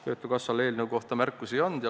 Töötukassal eelnõu kohta märkusi ei olnud.